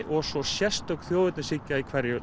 og svo sérstök þjóðernishyggja í hverju